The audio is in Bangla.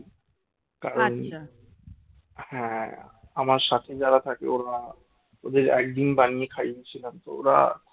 হ্যাঁ আমার সাথে যারা থাকে ওরা ওদের একদিন বানিয়ে খাইয়ে ছিলাম ওরা